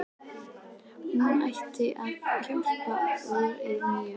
Hún ætlaði að hjálpa konu í neyð, sagði